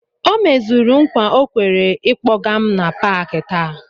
O mezuru nkwa o kwere ịkpọga m na Pááki taa